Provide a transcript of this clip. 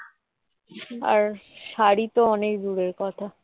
আর শাড়ি তো অনেক দূরের কথা